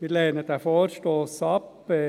Wir lehnen diesen Vorstoss ab.